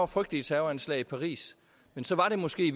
frygtelige terroranslag i paris men så var det måske